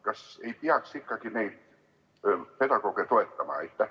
Kas ei peaks ikkagi neid pedagooge toetama?